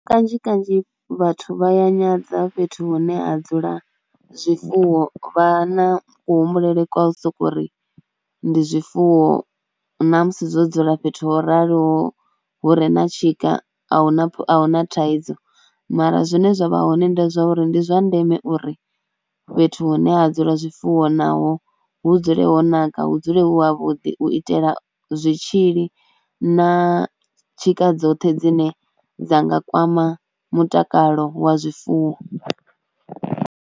Kanzhi kanzhi vhathu vha ya nyadza fhethu hune ha dzula zwifuwo vha na kuhumbulele kwa sokou ri ndi zwifuwo na musi dzo dzula fhethu ho raloho hu re na tshika a hu na, a hu na thaidzo mara zwine zwa vha hoṋe ndi zwa uri ndi zwa ndeme uri fhethu hune ha dzula zwifuwo naho hu dzule ho naka hu dzule hu ha vhuḓi u itela zwitzhili na tshika dzoṱhe dzine dza nga kwama mutakalo wa zwifuwo.